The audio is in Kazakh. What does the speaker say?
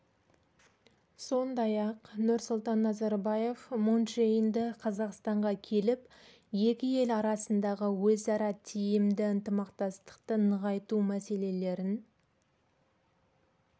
сондай-ақ нұрсұлтан назарбаев мун чже инді қазақстанға келіп екі ел арасындағы өзара тиімді ынтымақтастықты нығайту мәселелерін